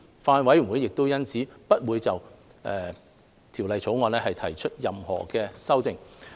法案委員會因此不會就《條例草案》提出任何修正案。